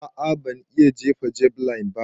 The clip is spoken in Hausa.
A'a ban iya jefa javeline ba.